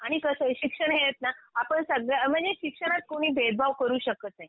आणि कसंय शिक्षण हे आहेत ना आपण सगळ्या म्हणजे शिक्षणात कुणी भेदभाव करू शकत नाही